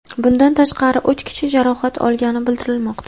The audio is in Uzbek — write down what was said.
Bundan tashqari, uch kishi jarohat olgani bildirilmoqda.